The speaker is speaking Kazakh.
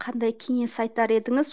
қандай кеңес айтар едіңіз